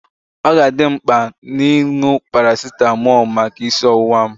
Ọ ga-adị m mkpa ịṅụ parasitamol maka isi ọwụwa m.